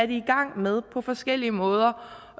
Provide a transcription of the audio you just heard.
i gang med på forskellige måder